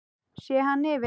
Sé hann yfir